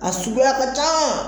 A suguy ka can